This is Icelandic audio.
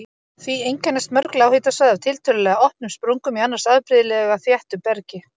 Því einkennast mörg lághitasvæði af tiltölulega opnum sprungum í annars afbrigðilega þéttu bergi.